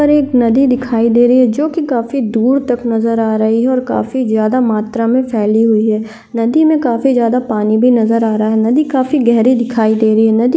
पर एक नदी दिखाई दे रही जोकि काफी दूर तक नज़र आ रही और काफी ज्यादा मात्र में फैली हुई है नदी में काफी ज्यादा पानी भी नज़र आ रहा नदी काफी गहरी दिखाई दे रही है नदी--